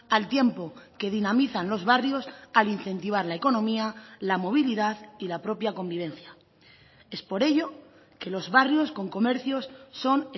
al tiempo que dinamizan los barrios al incentivar la economía la movilidad y la propia convivencia es por ello que los barrios con comercios son